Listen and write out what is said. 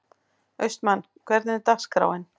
Austmann, hvernig er dagskráin?